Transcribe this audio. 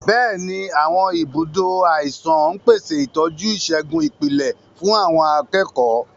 Bẹ́ẹ̀ni, àwọn ibùdó àìsàn ń pèsè ìtọ́jú ìṣègùn ìpìlẹ̀ fún àwọn akẹ́kọ̀ọ́.